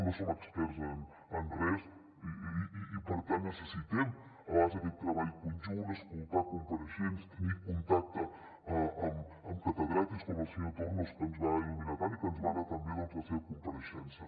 no som experts en res i per tant necessitem a vegades aquest treball conjunt escoltar compareixents tenir contacte amb catedràtics com el senyor tornos que ens va il·luminar tant i que ens va anar tan bé la seva compareixença